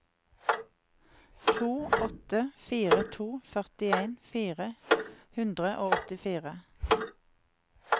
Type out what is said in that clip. to åtte fire to førtien fire hundre og åttifire